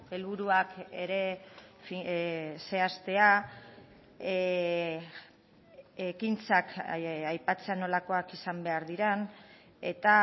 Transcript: helburuak ere zehaztea ekintzak aipatzea nolakoak izan behar diren eta